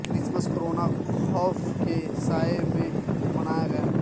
Christmas corona خو ف کے سائے میں منایا گیا